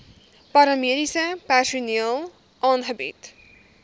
paramediese personeel aangebied